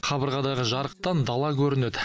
қабырғадағы жарықтан дала көрінеді